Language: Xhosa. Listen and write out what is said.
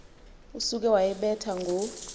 usuke wayibetha ngo